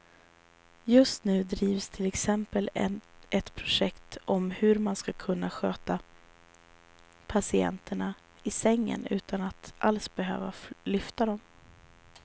Just nu drivs till exempel ett projekt om hur man ska kunna sköta patienterna i sängen utan att alls behöva lyfta dem.